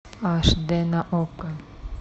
аш д на окко